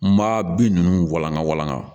N ma bin ninnu walanka walanka